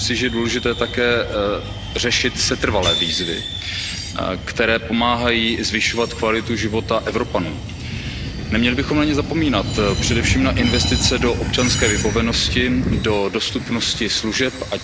Myslím si, že je důležité také řešit setrvalé výzvy, které pomáhají zvyšovat kvalitu života Evropanů. Neměli bychom na ně zapomínat, především na investice do občanské vybavenosti, do dostupnosti služeb, např.